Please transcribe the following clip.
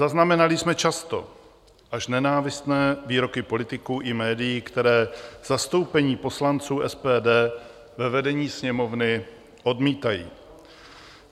Zaznamenali jsme často až nenávistné výroky politiků i médií, které zastoupení poslanců SPD ve vedení Sněmovny odmítají.